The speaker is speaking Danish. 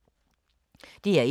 DR1